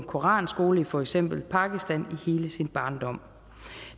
koranskole i for eksempel pakistan i hele sin barndom